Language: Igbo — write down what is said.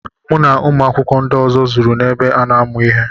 Mụ na ụmụ akwụkwọ ndị ọzọ zuru n'ebe ana amụ ihe.